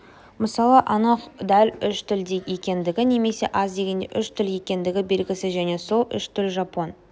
мысалы анық дәл үш тіл екендігі немесе аз дегенде үш тіл екендігі белгісіз және сол үш тілге жапон